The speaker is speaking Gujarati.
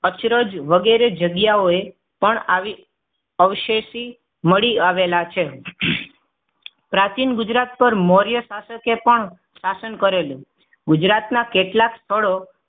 અચરજ વગેરે જગ્યાઓએ પણ આવ અવશેષી મળી આવેલા છે. પ્રાચીન ગુજરાત પર મૌર્ય શાસકે પણ શાસન કરેલું ગુજરાતના કેટલાક સ્થળો